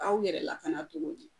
Aw yɛrɛ lakana cogo di